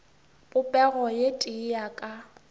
popego ye tee ya ka